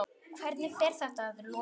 Hvernig fer þetta að lokum?